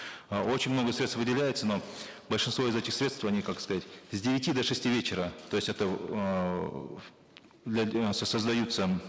э очень много средств выделяется но большинство из этих средств они как сказать с девяти до шести вечера то есть это для создаются